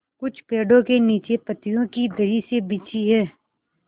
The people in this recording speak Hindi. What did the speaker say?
कुछ पेड़ो के नीचे पतियो की दरी सी बिछी है